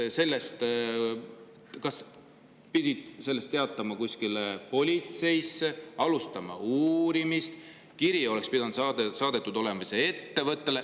Kas sellest oleks pidanud teatama politseisse, oleks pidanud alustama uurimist, saadetama kiri sellele ettevõttele?